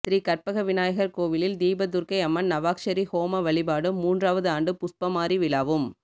ஸ்ரீகற்பக விநாயகர் கோவிலில் தீபதுர்க்கை அம்மன் நவாக்ஷரி ஹோம வழிபாடும் மூன்றாவது ஆண்டு புஷ்பமாரி விழாவும்